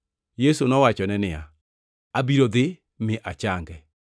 Yesu nowachone niya, “Abiro dhi mi achange.”